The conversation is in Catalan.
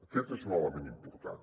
aquest és un element important